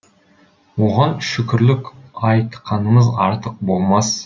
оған шүкірлік айтқанымыз артық болмас